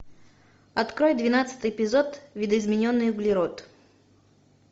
открой двенадцатый эпизод видоизмененный углерод